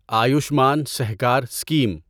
Ayushman Sahkar scheme